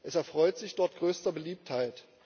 Es erfreut sich dort größter Beliebtheit.